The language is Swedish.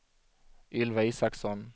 Ylva Isaksson